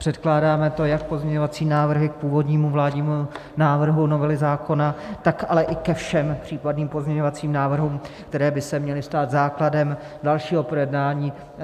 Předkládáme to jak pozměňovací návrhy k původnímu vládnímu návrhu novely zákona, tak ale i ke všem případným pozměňovacím návrhům, které by se měly stát základem dalšího projednání.